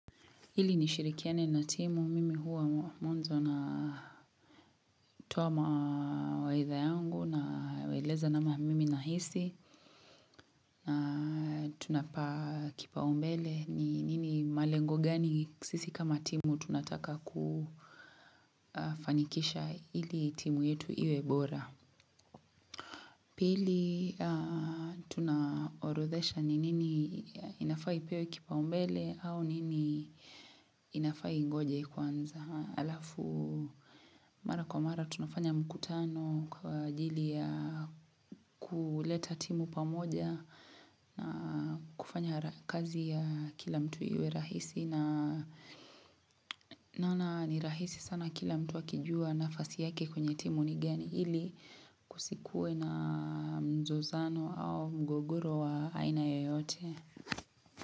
Ilinishirikiane na timu mimi huwa mwazo na tuwa mawaidha yangu naweleza namna mimi na hisi na tunapa kipaumbele ni nini malengo gani sisi kama timu tunataka kufanikisha ili timu yetu iwe bora. Pili tunaorodhesha ni nini inafa ipewe kipao mbele au nini inafa ingoje kwanza alafu mara kwa mara tunafanya mkutano kwa ajili ya kuleta timu pamoja na kufanya kazi ya kila mtu iwe rahisi. Na nana ni rahisi sana kila mtu wakijua nafasi yake kwenye timu ni gani hili kusikue na mzozano au mgogoro wa aina yoyote.